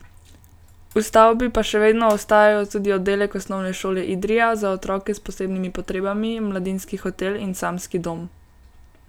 V stavbi pa še vedno ostajajo tudi oddelek Osnovne šole Idrija za otroke s posebnimi potrebami, mladinski hotel in samski dom.